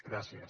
gràcies